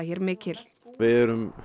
hér mikil við erum